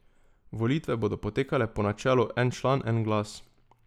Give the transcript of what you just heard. Volitve bodo potekale po načelu en član en glas.